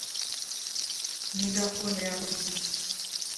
мегафон рядом